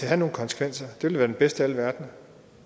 have nogen konsekvenser det ville være den bedste af alle verdener